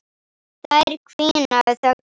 Þær hvína þöglar.